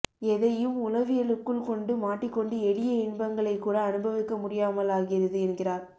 எதையும் உளவியலுக்குள் கொண்டு மாட்டிக்கொண்டு எளிய இன்பங்களைக்கூட அனுபவிக்க முடியாமலாகிறது என்கிறார்